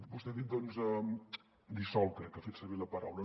vostè ha dit dissolt crec que ha fet servir aquesta paraula